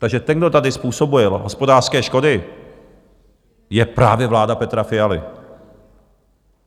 Takže ten, kdo tady způsobuje hospodářské škody, je právě vláda Petra Fialy.